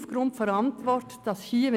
Aufgrund der Antwort sehe ich aber ein: